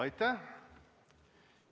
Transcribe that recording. Aitäh!